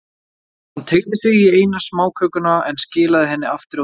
Hann teygði sig í eina smákökuna, en skilaði henni aftur á diskinn.